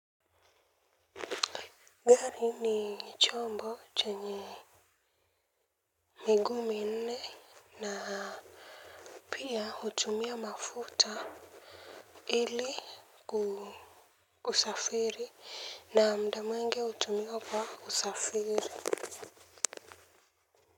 Gari ni chombo chenye miguu minne na pia hutumia mafuta ili kusafiri na muda mwingi hutumika kwa usafiri.